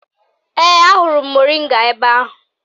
Ee, ahụrụ m moringa ebe ahụ